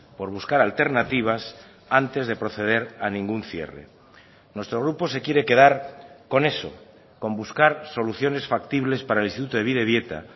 por buscar alternativas antes de proceder a ningún cierre nuestro grupo se quiere quedar con eso con buscar soluciones factibles para el instituto de bidebieta